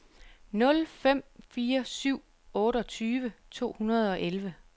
nul fem fire syv otteogtyve to hundrede og elleve